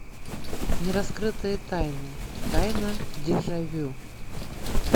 нераскрытые тайны тайна дежавю